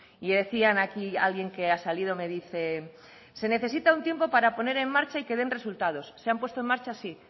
y decían aquí alguien que ha salido me dice se necesita un tiempo para poner en marcha y que den resultados se han puesto en marcha sí